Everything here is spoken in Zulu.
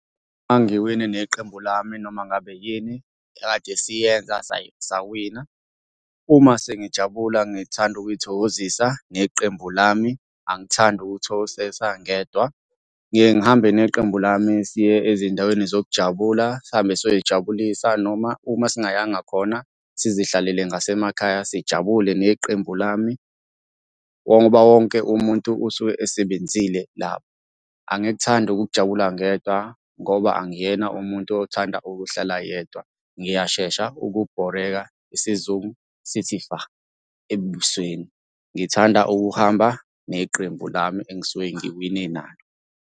Uma ngiwine neqembu lami, noma ngabe yini ekade siyenza sawina. Uma sengijabula ngithanda ukuy'thokozisa neqembu lami angithandi ukuy'thokozisa ngedwa. Ngiyeke ngihambe neqembu lami siye ezindaweni zokujabula sihambe siyoy'jabulisa, noma uma singayanga khona sizihlalele ngasemakhaya sijabule neqembu lami, ngoba wonke umuntu usuke esebenzile lapho. Angikuthandi ukujabula ngedwa ngoba angiyena umuntu othanda ukuhlala yedwa. Ngiyashesha ukubhoreka isizungu sithi fa ebusweni. Ngithanda ukuhamba neqembu lami engisuke ngiwine nalo.